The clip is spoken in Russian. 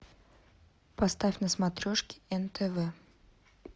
поставь на смотрешке нтв